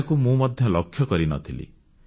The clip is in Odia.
ଏହାକୁ ମୁଁ ମଧ୍ୟ ଲକ୍ଷ୍ୟ କରିନଥିଲି